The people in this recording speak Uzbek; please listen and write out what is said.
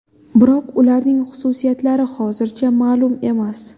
Biroq ularning xususiyatlari hozircha ma’lum emas.